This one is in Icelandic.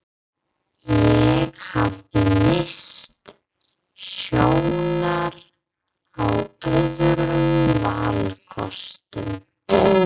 Ég hafði misst sjónar á öðrum valkostum.